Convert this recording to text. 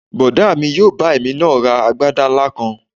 Bọ̀dá mi yóò bá èmi náà rán agbádá ńlá kan